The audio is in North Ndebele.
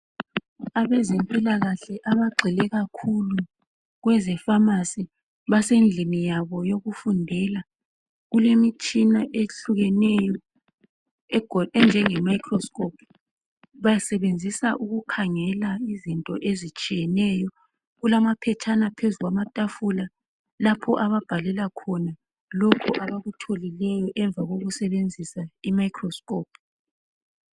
Abezempilakahle abagxile kakhulu, kwezepharmacy. Basendlini yabo yokufundela. Kulemitshina ehlukeneyo, enjengemicroscope. Basebenzisa ukukhangela izinto ezitshiyeneyo. Kulamaphetshana, phezu kwetafula, lapha ababhalela khona lokho abakutholileyo, ngemva kokusebenzisa imicroscope.